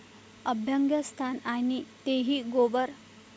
अभ्यंगस्नान आणि तेही गोबर!